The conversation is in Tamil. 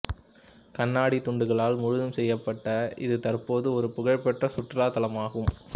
கண்ணாடி துண்டுகளால் முழுதும் செய்யப்பட்ட இது தற்போது ஒரு புகழ் பெற்ற சுற்றுலாத்தலமாகும்